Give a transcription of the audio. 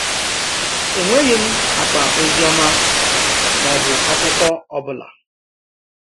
Enweghị m akpa ozioma ma ọ bụ akwụkwọ ọ bụla.